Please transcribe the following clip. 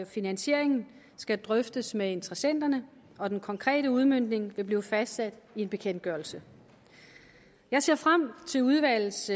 finansieringen skal drøftes med interessenterne og den konkrete udmøntning vil blive fastsat i en bekendtgørelse jeg ser frem til udvalgets